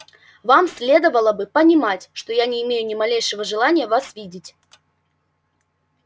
вам следовало бы понимать что я не имею ни малейшего желания вас видеть